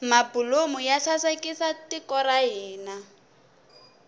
mabulomu ya sasekisa tiko ra hina